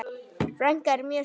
Frænka er mjög stolt.